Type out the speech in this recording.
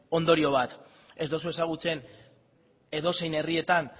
ondorio bat ez dozu ezagutzen edozein herrietan